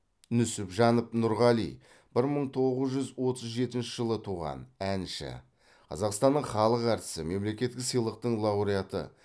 нүсіпжанов нұрғали бір мың тоғыз жүз отыз жетінші жылы туған әнші қазақстанның халық әртісі мемлекеттік сыйлықтың лауреаты